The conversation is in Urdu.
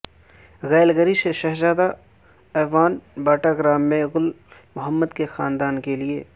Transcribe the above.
کیلگری سے شہزاد اعوان باٹا گرام میں گل محمد کے خاندان کے لیے